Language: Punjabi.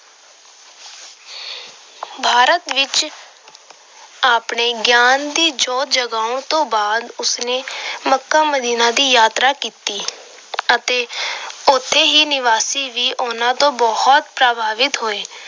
ਭਾਰਤ ਵਿੱਚ ਆਪਣੇ ਗਿਆਨ ਦੀ ਜੋਤ ਜਗਾਉਣ ਤੋਂ ਬਾਅਦ ਉਸ ਨੇ ਮੱਕਾ ਮਦੀਨਾ ਦੀ ਯਾਤਰਾ ਕੀਤੀ ਅਤੇ ਉੱਥੋਂ ਦੇ ਨਿਵਾਸੀ ਵੀ ਉਹਨਾਂ ਤੋਂ ਬਹੁਤ ਪ੍ਰਭਾਵਿਤ ਹੋਏ।